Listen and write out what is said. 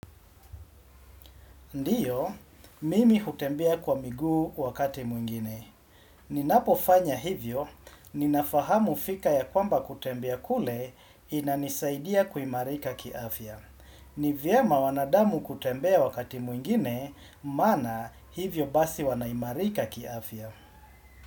Ndiyo, mimi hutembea kwa miguu wakati mwingine. Ninapofanya hivyo, ninafahamu fika ya kwamba kutembea kule inanisaidia kuimarika kiafya. Ni vyema wanadamu kutembea wakati mwingine, maana hivyo basi wanaimarika kiafya.